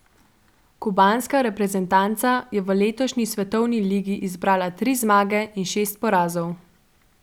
Kubanska reprezentanca je v letošnji svetovni ligi zbrala tri zmage in šest porazov.